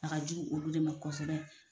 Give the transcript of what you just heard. A ka jugu olu de ma kosɛbɛ.